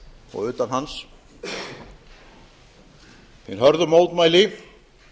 og utan hans hin hörðu mótmæli